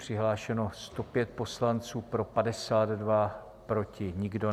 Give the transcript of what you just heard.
Přihlášeno 105 poslanců, pro 52, proti nikdo.